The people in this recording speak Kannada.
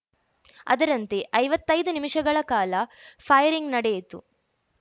ಅದರಂತೆ ಐವತ್ತೈದು ನಿಮಿಷಗಳ ಕಾಲ ಫೈರಿಂಗ್‌ ನಡೆಯಿತು